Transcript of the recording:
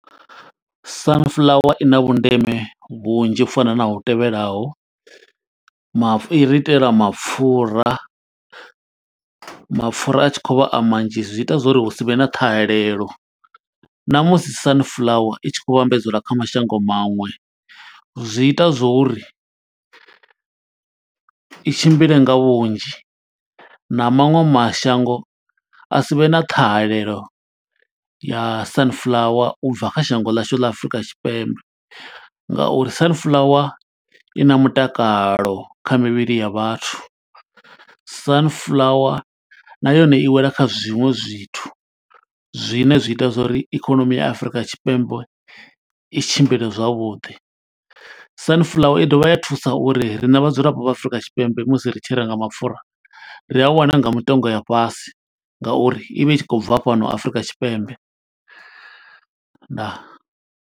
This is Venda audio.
Sunflower i na vhundeme vhunzhi u fana na hu tevhelaho, mafhu i ri itela mapfura. Mapfura a tshi khou vha a manzhi, zwi ita zwo uri hu si vhe na ṱhahelelo na musi sunflower i tshi khou vhambadzelwa kha mashango maṅwe. Zwi ita zwo uri i tshimbile nga vhunzhi, na maṅwe mashango a sivhe na ṱhahalelo ya sunflower ubva kha shango ḽashu ḽa Afurika Tshipembe. Nga uri sunflower i na mutakalo kha mivhili ya vhathu, sunflower na yone i wela kha zwiṅwe zwithu zwine zwi ita zwori ikonomi ya Afurika Tshipembe i tshimbile zwavhuḓi. Sunflower i dovha ya thusa uri riṋe vhadzulapo vha Afrika Tshipembe musi ri tshi renga mapfura, ri a wana nga mitengo ya fhasi nga uri i vha i tshi khou bva fhano Afrika Tshipembe. Ndaa.